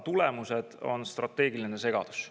Tulemuseks on strateegiline segadus.